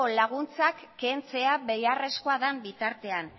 laguntzak kentzea beharrezkoa den bitartean